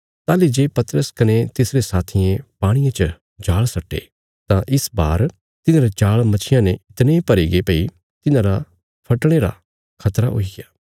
ताहली जे पतरस कने तिसरे साथियें पाणिये च जाल़ सट्टे तां इस बार तिन्हारे जाल़ मच्छियां ने इतणे भरीगे भई तिन्हांरा फटणे रा खतरा हुईग्या